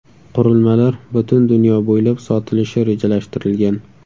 Qurilmalar butun dunyo bo‘ylab sotilishi rejalashtirilgan.